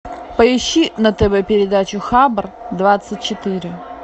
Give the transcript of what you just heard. поищи на тв передачу хабр двадцать четыре